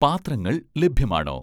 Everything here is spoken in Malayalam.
പാത്രങ്ങൾ ലഭ്യമാണോ?